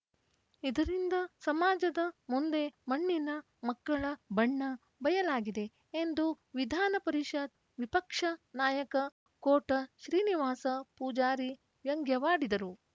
ಇದರಿಂದ ಸಮಾಜದ ಮುಂದೆ ಮಣ್ಣಿನ ಮಕ್ಕಳ ಬಣ್ಣ ಬಯಲಾಗಿದೆ ಎಂದು ವಿಧಾನ ಪರಿಷತ್‌ ವಿಪಕ್ಷ ನಾಯಕ ಕೋಟ ಶ್ರೀನಿವಾಸ ಪೂಜಾರಿ ವ್ಯಂಗ್ಯವಾಡಿದರು